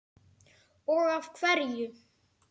Og af hverju.